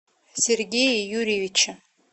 сергее юрьевиче